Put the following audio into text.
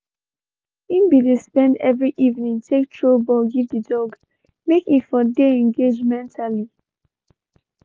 he been de spend every evening take throw ball give the dog make e for the engaged mentally.